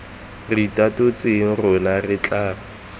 re itatotseng rona re tla